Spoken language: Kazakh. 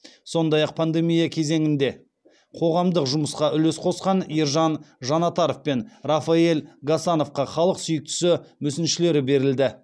сондай ақ пандемия кезеңінде қоғамдық жұмысқа үлес қосқан ержан жанатаров пен рафаэль гасановқа халық сүйіктісі мүсіншелері берілді